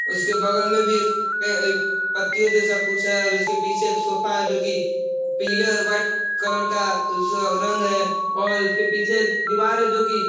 उसके बगल में भी एक प पतियों जैसा कुछ है और उसके पीछे एक सोफा है जोकि पीले और व्हाइट कलर का रंग है और उसके पीछे दिवार है जोकि --